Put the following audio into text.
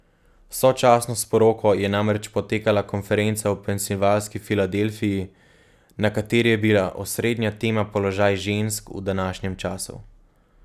Sočasno s poroko je namreč potekala konferenca v Pensilvanski Filadelfiji, na kateri je bila osrednja tema položaj žensk v današnjem času.